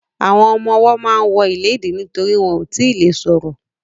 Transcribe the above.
Àwọn ọmọwọ́ ma ń wọ ìléèdí nítorí wọn ò tíì le ṣọ̀rọ̀.